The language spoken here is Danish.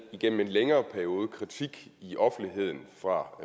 igennem en længere periode været kritik i offentligheden og fra